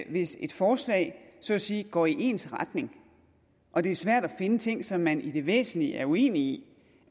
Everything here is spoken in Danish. at hvis et forslag så at sige går i ens retning og det er svært at finde ting som man i det væsentlige er uenige i